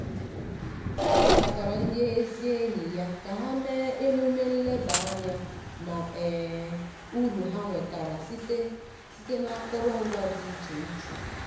ọ kpọkọtara ndị ezigbo enyi ya ka ha mee emume leba anya na um uru ha nwetara site site n’akụrụngwa dị iche iche.